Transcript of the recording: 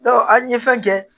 an ye fɛn kɛ